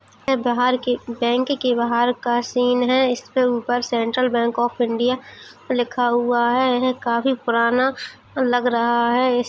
बहार के बैंक के बाहर का सीन है इसके ऊपर सेंट्रल बैंक ऑफ़ इंडिया लिखा हुआ है यह काफी पुराना लग रहा है। इस --